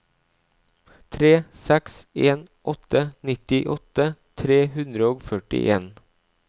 tre seks en åtte nittiåtte tre hundre og førtien